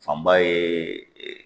Fanba ye